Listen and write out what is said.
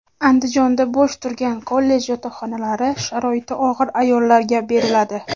Andijonda bo‘sh turgan kollej yotoqxonalari sharoiti og‘ir ayollarga beriladi.